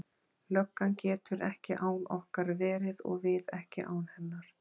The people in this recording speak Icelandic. Löggan getur ekki án okkar verið og við ekki án hennar.